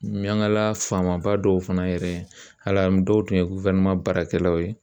Ɲangila faamaba dɔw fana yɛrɛ hali dɔw tun ye baarakɛlaw ye